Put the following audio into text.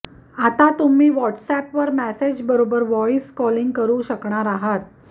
आता तुम्ही व्हाट्अॅपवर मॅसेजबरोबर व्हॉईस कॉलिंग करु शकणार आहात